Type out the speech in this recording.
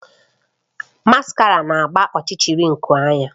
Maskara na-agba ọchịchịrị nku anya